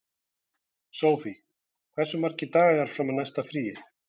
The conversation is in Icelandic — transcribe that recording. Sofie, hversu margir dagar fram að næsta fríi?